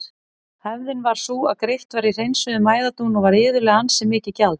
Hefðin var sú að greitt var í hreinsuðum æðadún og var iðulega ansi mikið gjald.